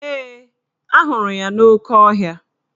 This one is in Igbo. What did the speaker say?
Ee, ahụrụ ya n'oke ohia